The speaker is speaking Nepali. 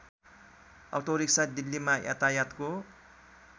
अटोरिक्सा दिल्लीमा यातायातको